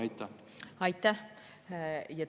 Aitäh!